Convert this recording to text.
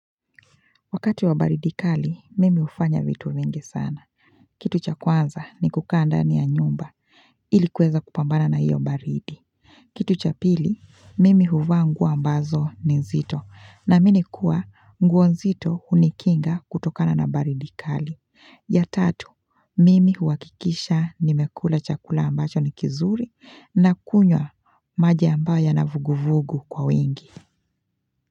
Wakati wa baridi kali mimi hufanya vitu vingi sana. Kitu cha kwanza ni kukaa ndani ya nyumba ilikuweza kupambana na hiyo baridi. Kitu cha pili mimi huvaa nguo ambazo ni nzito naamini kuwa nguo nzito hunikinga kutokana na baridi kali. Ya tatu mimi huhakikisha nimekula chakula ambacho ni kizuri nakunywa maji ambayo yana vuguvugu kwa wingi.